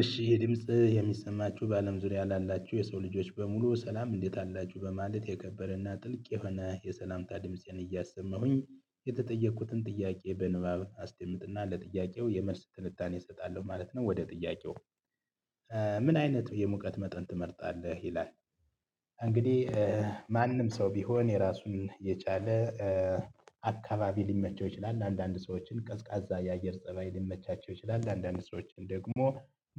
እሺ የድምጽ የሚሰማችሁ በአለም ዙሪያ ላላችሁ የሰው ልጆች በሙሉ ሰላም እንዴት አላችሁ በማለት የከበረና ጥልቅ የሆነ የሰላምታ ድምፄን እያሰመሁኝ የተጠየቅኩትን ጥያቄ በንባብ አስደምጥና ለጥያቄው የመልስ ትንታኔ እሰጣለሁ ማለት ነው። ወደ ጥያቄው ምን አይነት የሙቀት መጠን ትመርጣለህ ይላል? እንግዲህ ማንም ሰው ቢሆን የራሱን የቻለ አካባቢ ሊመቸው ይችላል። አንዳንድ ሰዎችን ቀዝቃዛ የአየር ፀባይ ሊመቻቸው ይችላል። አንዳንድ ሰዎች ደግሞ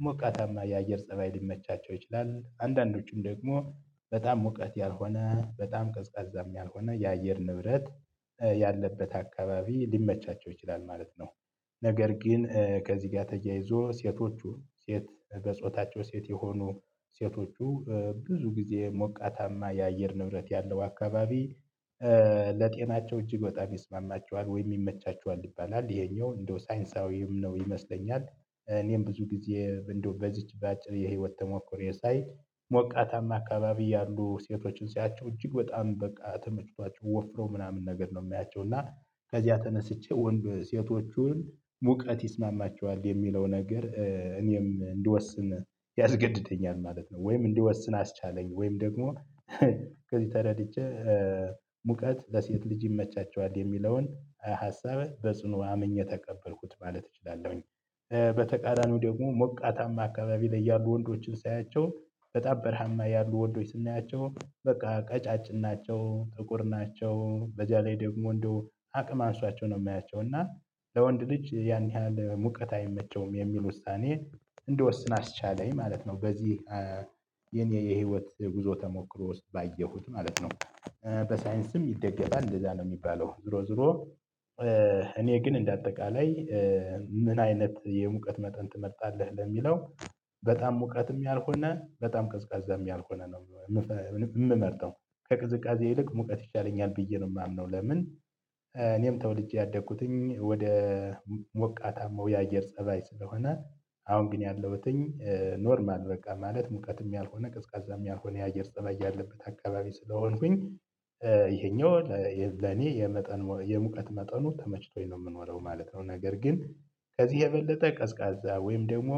ሞቃታማ የአየር ፀባይ ሊመቻቸው ይችላል። አንዳንዶቹም ደግሞ በጣም ሙቀት ያልሆነ በጣም ቀዝቃዛም ያልሆነ የአየር ንብረት ያለበት አካባቢ ሊመቻቸው ይችላል ማለት ነው። ነገር ግን ከዚህ ጋር ተያይዞ ሴቶቹ ሴት በጾታቸው ሴት የሆኑ ሴቶቹ ብዙ ጊዜ ሞቃታማ የአየር ንብረት ያለው አካባቢ ለጤናቸው እጅግ በጣም ይስማማቸዋል ወይ ይመቻቸዋል ይባላል። ይሄኛው እንደው ሳይንሳዊም ነው ይመስለኛል። እኔም ብዙ ጊዜ እንደው በዚች በአጭር የህይወት ተሞክሮየ ሳይ ሞቃታማ አካባቢ ያሉ ሴቶችን ሳያቸው እጅግ በጣም በቃ ተመችቷቸው ወፍረው ምናምን ነገር ነው የማያቸው እና ከዚያ ተነስቼ ወንድ ሴቶቹን ሙቀት ይስማማቸዋል የሚለው ነገር እኔም እንዲወስን ያስገድደኛል ማለት ነው። ወይም እንዲወስን አስቻለኝ ወይም ደግሞ ከዚህ ተረድቼ ሙቀት ለሴት ልጅ ይመቻቸዋል የሚለውን ሀሳብ በጽኑ አምኜ ተቀበልኩት ማለት እችላለሁኝ። በተቃራኒው ደግሞ ሞቃታማ አካባቢ ላይ ያሉ ወንዶችን ሳያቸው በጣም በራሀማ ያሉ ወንዶች ስናያቸው በቃ ቀጫጭን ናቸው ጥቁር ናቸው በዚያ ላይ ደግሞ እንደው አቅም አንሷቸው ነው የማያቸው እና ለወንድ ልጅ ያን ያህል ሙቀት አይመቸውም የሚል ውሳኔ እንድወስን አስቻለኝ ማለት ነው። በዚህ የኔ የህይወት ጉዞ ተሞክሮ ውስጥ ባየሁት ማለት ነው። በሳይንስም ይደገፋል እንደዛ ነው የሚባለው። ዙሮ ዙሮ እኔ ግን እንደ አጠቃላይ ምን አይነት የሙቀት መጠን ትመርጣለህ? ለሚለው በጣም ሙቀትም ያልሆነ በጣም ቅዝቃዛም ያልሆነ ነው የምመርጠው ከቅዝቃዜ ይልቅ ሙቀት ይሻለኛል ብዬ ነው የማምነው። ለምን እኔም ተወልጄ ያደኩትኝ ወደ ሞቃታማው የአየር ፀባይ ስለሆነ አሁን ግን ያለሁትኝ ኖርማል በቃ ማለት ሙቀትም ያልሆነ ቅዝቃዛም ያልሆነ የአየር ፀባይ ያለበት አካባቢ ስለሆንኩኝ ይሄኛው ለኔ የመጠን የሙቀት መጠኑ ተመችቶኝ ነው የምኖረው ማለት ነው። ነገር ግን ከዚህ የበለጠ ቀዝቃዛ ወይም ደግሞ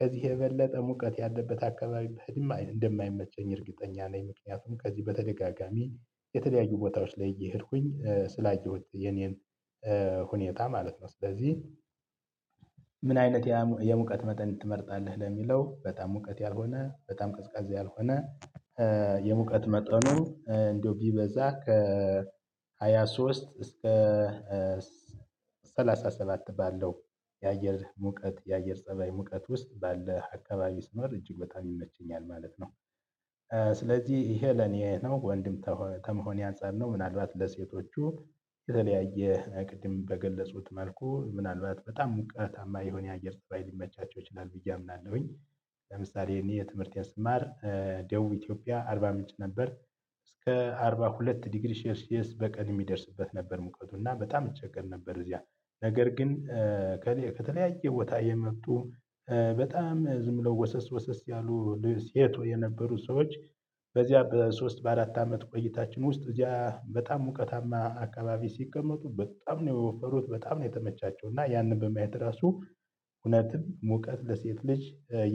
ከዚህ የበለጠ ሙቀት ያለበት አካባቢ ብሄድም እንደማይመቸኝ እርግጠኛ ነኝ። ምክንያቱም ከዚህ በተደጋጋሚ የተለያዩ ቦታዎች ላይ እየሄድኩኝ ስላየሁኝ የኔን ሁኔታ ማለት ነው። ስለዚህ ምን አይነት የሙቀት መጠን ትመርጣለህ ለሚለው በጣም ሙቀት ያልሆነ በጣም ቀዝቃዛ ያልሆነ የሙቀት መጠኑ እንደው ቢበዛ ከሃያ ሶስት እስከ ሰላሳ ሰባት ባለው የአየር ሙቀት የአየር ፀባይ ሙቀት ውስጥ ባለ አካባቢ ስኖር እጅግ በጣም ይመቸኛል ማለት ነው። ስለዚህ ይሄ ለኔ ነው ወንድም ተመሆኔ አንፃር ነው ምናልባት ለሴቶቹ የተለያየ ቅድም በገለፁት መልኩ ምናልባት በጣም ሙቀታማ የሆነ የአየር ፀባይ ሊመቻቸው ይችላል ብዬ አምናለሁኝ። ለምሳሌ እኔ ትምህርቴን ስማር ደቡብ ኢትዮጵያ አርባ ምንጭ ነበር እስከ አርባ ሁለት ዲግሪ ሼልሲየስ በቀን የሚደርስበት ነበር ሙቀቱ እና በጣም እንቸገር ነበር። እዚያ ነገር ግን ከተለያየ ቦታ የመጡ በጣም ዝም ብለው ወሰስ ወሰስ ያሉ ልል ሴቶች የነበሩ ሰዎች በዚያ በሶስት በአራት አመት ቆይታችን ውስጥ እዚያ በጣም ሙቀታማ አካባቢ ሲቀመጡ በጣም ነው የወፈሩት በጣም ነው የተመቻቸው እና ያንን በማየት ራሱ እውነትም ሙቀት ለሴት ልጅ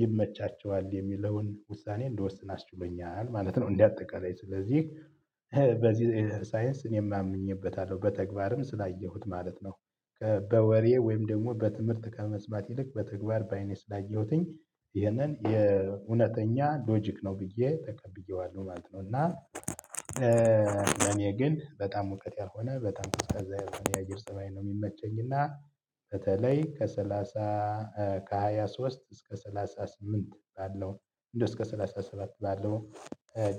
ይመቻቸዋል የሚለውን ውሳኔ እንደወስን አስችሎኛል ማለት ነው። እንደ አጠቃላይ ስለዚህ በዚህ ሳይንስ እኔ አምኝበታለሁ በተግባርም ስላየሁት ማለት ነው። በወሬ ወይም ደግሞ በትምህርት ከመስማት ይልቅ በተግባር በአይኔ ስላየሁትኝ ይሄንን የእውነተኛ ሎጂክ ነው ብዬ ተቀብዬዋለሁ ማለት ነው። እና ለኔ ግን በጣም ሙቀት ያልሆነ በጣም ቀዝቃዛ ያለሆነ የአየር ፀባይ ነው የሚመቸኝ። እና በተለይ ከሰላሳ ከሃያ ሶስት እስከ ሰላሳ ስምንት ባለው እንደው እስከ ሰላሳ ሰባት ባለው ነው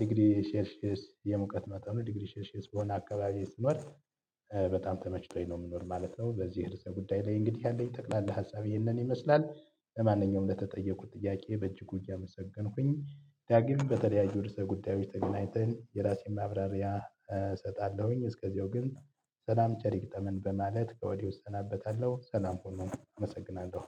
ዲግሪ ሼልሲየስ የሙቀት መጠኑ ዲግሪ ሼልሲየስ በሆነ አካባቢ ስኖር በጣም ተመችቶኝ ነው የምኖር ማለት ነው። በዚህ ርዕሰ ጉዳይ ላይ እንግዲህ ያለኝ ጠቅላላ ሀሳብ ይሄንን ይመስላል። ለማንኛውም ለተጠየቁት ጥያቄ በእጅጉ እያመሰገንኩኝ ዳግም በተለያዩ ርዕሰ ጉዳዮች ተገናኝተን የራሴን ማብራሪያ እሰጣለሁኝ። እስከዚያው ግን ሰላም ቸር ይግጠመን በማለት ከወዲህ እሰናበታለሁ። ሰላም ሁሉንም አመሰግናለሁ።